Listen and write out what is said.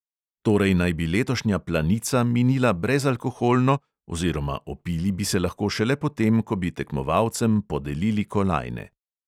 Torej naj bi letošnja planica minila brezalkoholno oziroma opili bi se lahko šele potem, ko bi tekmovalcem podelili kolajne.